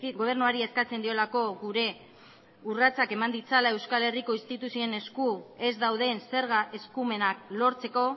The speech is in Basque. gobernuari eskatzen diolako gure urratsak eman ditzala euskal herriko instituzioen esku ez dauden zerga eskumenak lortzeko